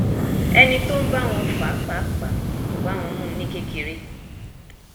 ẹni tó ń bá wọn fà á pàápàá kò bá wọn mu ún ní kékeré